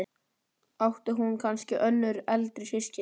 Átti hún kannski önnur eldri systkini?